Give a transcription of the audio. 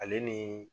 Ale ni